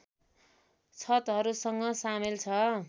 छतहरूसंग सामेल छ